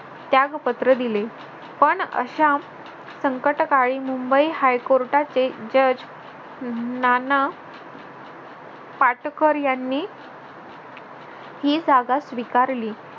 त्यागपत्र दिले पण अशा संकटकाळी मुंबई हायकोर्टाचे judge नाना पाटकर यांनी ही जागा स्वीकारली